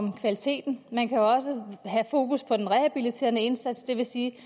på kvaliteten man kan også have fokus på den rehabiliterende indsats det vil sige